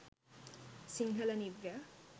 sinhala new year